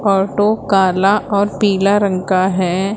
Auto काला और पीला रंग का है।